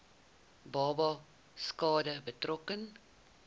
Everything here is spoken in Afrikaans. babas skade berokken